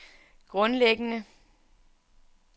grundlæggende